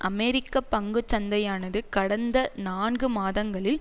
அமெரிக்க பங்குச்சந்தையானது கடந்த நான்கு மாதங்களில்